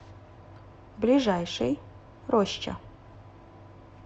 ближайший роща